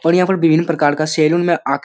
और यहाँ पे विभिन्न प्रकार का सैलून में आखिर --